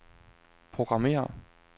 programmér